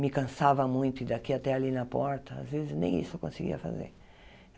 me cansava muito, ir daqui até ali na porta, às vezes nem isso eu conseguia fazer.